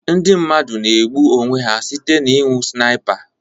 Ndị mmadụ na-egbu onwe ha site n'ịnu Snipa